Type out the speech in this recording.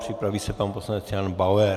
Připraví se pan poslanec Jan Bauer.